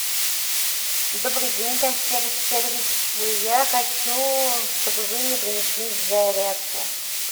добрый день консьерж сервис я хочу чтобы вы мне принесли зарядку